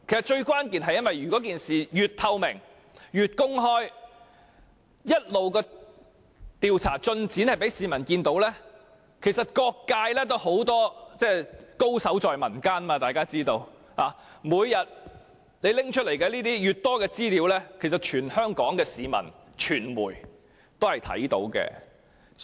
最關鍵的是，只要我們以透明公開的方式進行調查，並一直讓市民見證調查進展，各界......大家都知道，高手在民間；有關方面每天提供的相關資料，全香港的市民和傳媒都看得到。